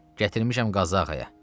Gətirmişəm Qazı ağaya.